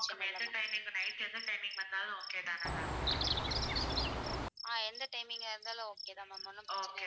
எந்த timing ஆ இருந்தாலும் okay தான் ma'am. ஒண்ணும் பிரச்சனை இல்ல.